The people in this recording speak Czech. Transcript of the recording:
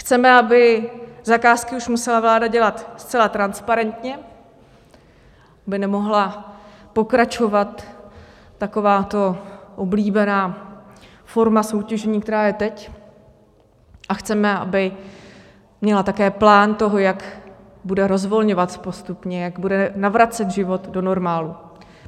Chceme, aby zakázky už musela vláda dělat zcela transparentně, aby nemohla pokračovat takováto oblíbená forma soutěžení, která je teď, a chceme, aby měla také plán toho, jak bude rozvolňovat postupně, jak bude navracet život do normálu.